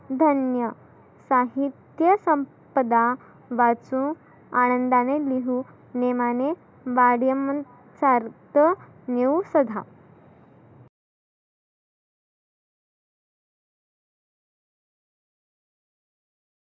धन्य. साहित्य संपदा वाचु आनंदाने लिहु नेमाने सार्थ नेऊ सुद्धा.